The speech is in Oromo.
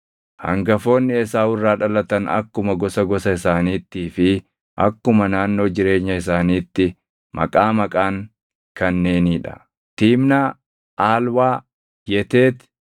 Hangafoonni Esaawu irraa dhalatan akkuma gosa gosa isaaniittii fi akkuma naannoo jireenya isaaniitti maqaa maqaan kanneenii dha: Tiimnaa, Aalwaa, Yeteeti,